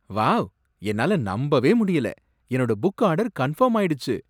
Wow! என்னால நம்பவே முடியல! என்னோட புக் ஆர்டர் கன்ஃபர்ம் ஆயிடுச்சு.